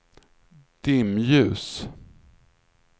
dimljus